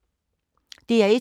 DR1